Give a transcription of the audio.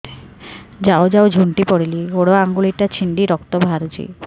ଯାଉ ଯାଉ ଝୁଣ୍ଟି ପଡ଼ିଲି ଗୋଡ଼ ଆଂଗୁଳିଟା ଛିଣ୍ଡି ରକ୍ତ ବାହାରୁଚି